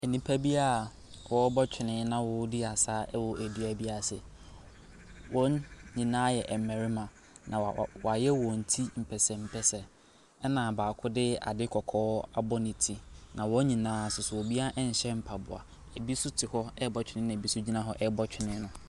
Nnipa bi a wɔrebɔ twene na wɔredi asa wɔ dua bi ase. Wɔn nyinaa yɛ mmarima. Na wɔayɛ wɔn ti mpɛsɛmpɛsɛ. Ɛna baako de adeɛ kakaa abɔ ne ti, na wɔn nyinaa nso so, obiara nkyɛ mpaboa. Bi nso te hɔ rebɔ twene, na bi nso gyina hɔ rebɔ twene no.